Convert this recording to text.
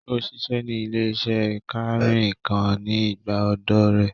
Ó ṣiṣẹ́ ní ilé-iṣẹ́ kànrìnkàn ní ìgbà ọ̀dọ́ ọ rẹ̀